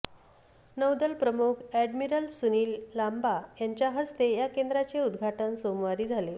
नौदल प्रमुख एडमिरल सुनिल लांबा यांच्या हस्ते या केंद्राचे उदघाटन सोमवारी झाले